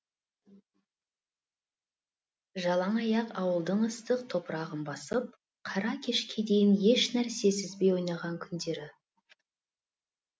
жалаң аяқ ауылдың ыстық топырағын басып қара кешке дейін еш нәрсе сезбей ойнаған күндері